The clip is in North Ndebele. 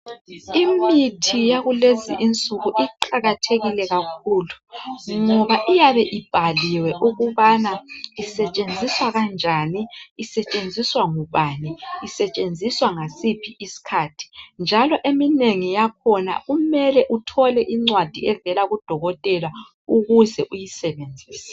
Imithi yakulezi insuku iqakathekile kakhulu ngoba iyabe ibhaliwe ukubana isetshenziswa kanjani isetshenziswa ngubani isetshenziswa ngasiphi isikhathi njalo eminengi yakhona kumele uthole incwadi evela kudokotela ukuze uyisebenzise